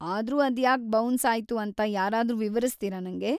‌ಆದ್ರೂ ಅದ್ಯಾಕ್ ಬೌನ್ಸ್‌ ಆಯ್ತು ಅಂತ ಯಾರಾದ್ರೂ ವಿವರಿಸ್ತೀರ ನಂಗೆ?